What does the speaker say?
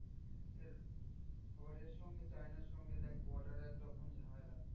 এর আবার এরসঙ্গে চায়নার সঙ্গে দেখ border এ একরকম ঝামেলা।